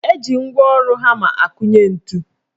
Eji ngwaọrụ hama akụnye ntu.